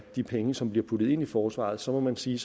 de penge som bliver puttet ind i forsvaret så må man sige